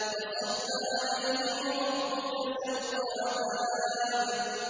فَصَبَّ عَلَيْهِمْ رَبُّكَ سَوْطَ عَذَابٍ